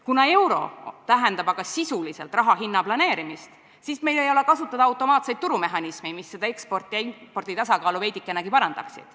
Kuna euro tähendab aga sisuliselt raha hinna planeerimist, siis meil ei ole kasutada automaatseid turumehhanisme, mis seda ekspordi ja impordi tasakaalu veidikenegi parandaksid.